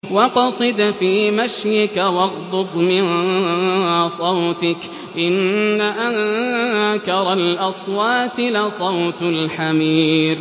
وَاقْصِدْ فِي مَشْيِكَ وَاغْضُضْ مِن صَوْتِكَ ۚ إِنَّ أَنكَرَ الْأَصْوَاتِ لَصَوْتُ الْحَمِيرِ